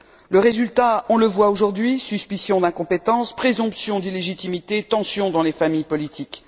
Le résultat, on le voit aujourd'hui, suspicion d'incompétence, présomption d'illégitimité, tensions dans les familles politiques.